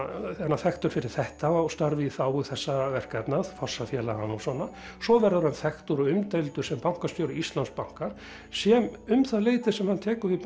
hann þekktur fyrir þetta og störf í þágu þessara verkefna fossafélaganna og svona svo verður hann þekktur og umdeildur sem bankastjóri Íslandsbanka sem um það leyti sem hann tekur við